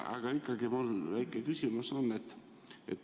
Aga ikkagi mul on väike küsimus.